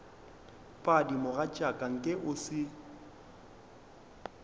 padi mogatšaka nke o se